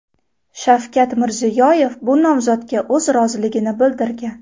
Shavkat Mirziyoyev bu nomzodga o‘z roziligini bildirgan.